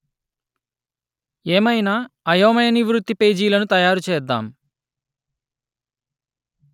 ఏమయినా అయోమయ నివృత్తి పేజీలను తయారు చేద్దాం